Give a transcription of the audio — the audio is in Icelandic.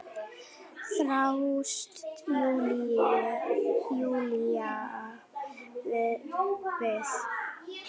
þráast Júlía við.